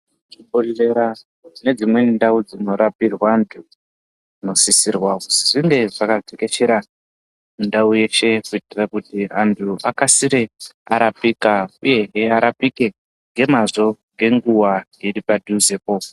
Chibhodhlera ne dzimweni ndau dzino rapirwa antu muno sisirwa kuzi zvinge zvaka tekeshera mu ndau yeshe kuitira kuti antu akasire arapika uyehe arapike nge mazvo nge nguva iri padhuze po.